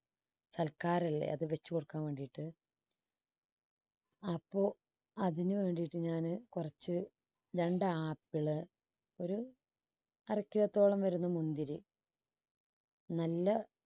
സൽക്കാരല്ലേ അത് വെച്ചുകൊടുക്കാൻ വേണ്ടിയിട്ട് അപ്പോ അതിനുവേണ്ടിയിട്ട് ഞാന് കുറച്ച് രണ്ടാ apple ഒരു അര kilo ത്തോളം വരുന്ന മുന്തിരി നല്ല